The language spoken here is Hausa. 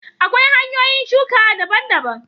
Akwai hanyoyin shuka daban daban